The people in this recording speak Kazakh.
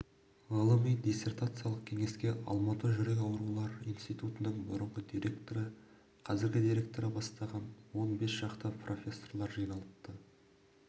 ғылыми диссертациялық кеңеске алматы жүрек ауырулар институтының бұрынғы директоры қазіргі директоры бастаған он бес шақты профессорлар жиналыпты